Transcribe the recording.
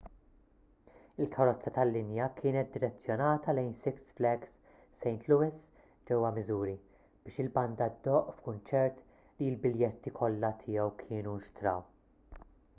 il-karozza tal-linja kienet direzzjonata lejn six flags st louis ġewwa missouri biex il-banda ddoqq f'kunċert li l-biljetti kollha tiegħu kienu nxtraw